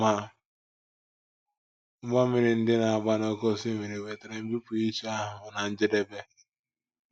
Ma ụgbọ mmiri ndị na - agba n’oké osimiri wetara mbipụ iche ahụ ná njedebe.